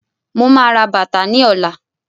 Mo máa ra bàtà ni ọ̀la